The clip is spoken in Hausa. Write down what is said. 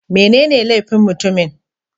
Menene laifin mutumin?